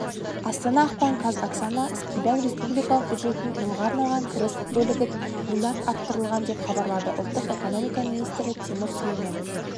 астана ақпан қаз оксана скибан республикалық бюджеттің жылға арналған кіріс бөлігіт млрд арттырылған деп хабарлады ұлттық экономика министрі тимур сүлейменов